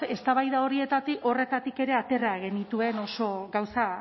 eztabaida horretatik ere atera genituen oso gauza